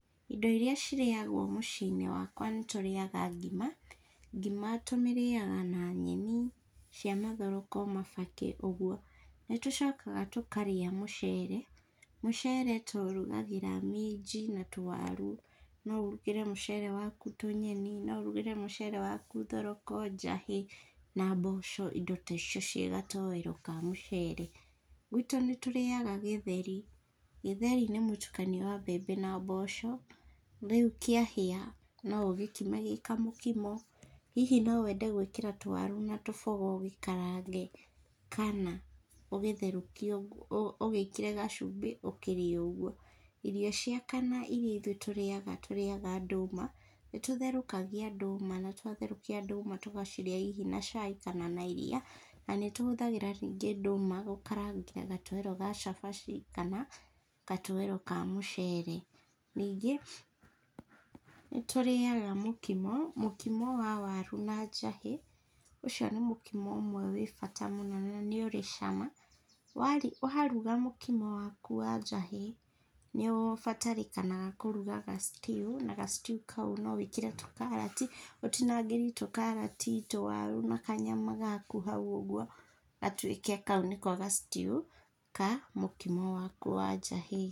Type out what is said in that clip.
Indo iria cirĩagwo mũciĩ-inĩ wakwa nĩ tũrĩaga ngima. Ngima tũmĩrĩaga na nyeni cia mathoroko, mabakĩ, ũguo. Nĩ tũcokaga tũkarĩa mũcere. Mũcere tũũrugagĩra minji na tũwaru. No ũrũgĩre mũcere waku tũnyeni, no ũrũgĩre mũcere waku thoroko, njahĩ na mboco, indo ta icio ciĩ gatoero ka mũcere. Gwitũ nĩ tũrĩaga gĩtheri. Gĩtheri nĩ mũtukanio wa mbembe na mboco. Rĩu kĩahĩa no ũgĩkime gĩ kamũkimo, hihi no wende gũĩkĩra tũwaru na tũboga ũgĩkarange kana, ũgitherũkie ũguo ũgĩĩkĩre gacumbĩ, ũkĩrĩe ũguo. Irio cia kana iria itũĩ tũrĩaga, tũrĩaga ndũma. Nĩ tũtherũkagia ndũma na twatherũkia ndũma, tũgacirĩa hihi na cai kana na iria. Na nĩ tũhũthagĩra ningĩ ndũma gũkarangĩra gatoero ga cabaci kana gatoero ka mũcere. Ningĩ, nĩ tũrĩaga mũkimo, mũkimo wa waru na njahĩ. Ũcio nĩ mũkimo ũmwe wĩ bata mũno na nĩ ũrĩ cama. Waruga mũkimo waku wa njahĩ, nĩ ũbatarĩkanaga kũruga ga stew na ga stew kau no wĩkĩre tũkarati, ũtinangĩri tũkarati, tũwaru, na kanyama hau ũguo, gatuĩke kau nĩko ga stew ka mũkimo waku wa njahĩ.